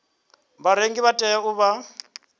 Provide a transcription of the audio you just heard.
vharengi vha tea u vha